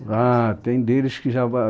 Ah tem deles que já